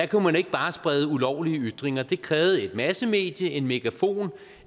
kunne man ikke bare sprede ulovlige ytringer det krævede et massemedie en megafon